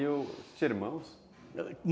E os, tinha irmãos?